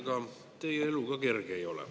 Ega teie elu ka kerge ei ole.